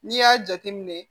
N'i y'a jateminɛ